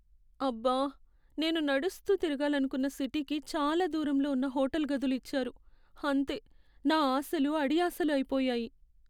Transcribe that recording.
అబ్బా! నేను నడుస్తూ తిరగాలనుకున్న సిటీకి చాలా దూరంలో ఉన్న హోటల్ గదులు ఇచ్చారు. అంతే నా ఆశలు అడియాశలు అయిపోయాయి.